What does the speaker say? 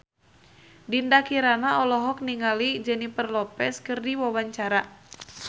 Dinda Kirana olohok ningali Jennifer Lopez keur diwawancara